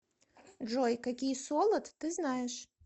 джой какие солод ты знаешь